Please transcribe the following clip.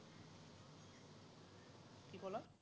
কি ক'লা?